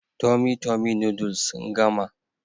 Tummy tummy noodles sun gama